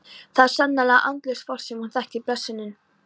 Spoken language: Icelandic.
Það er sannarlega andlaust fólk sem hún þekkir blessunin.